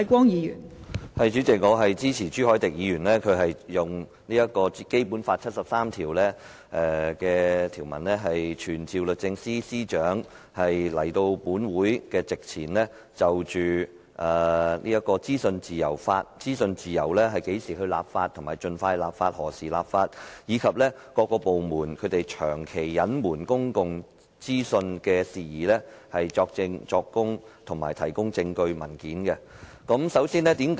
代理主席，我支持朱凱廸議員動議本會根據《基本法》第七十三條，傳召律政司司長到立法會席前，就會否為資訊自由盡快立法及何時立法，以及各政府部門長期隱瞞公共資訊事宜，作證作供，以及提供證據及文件。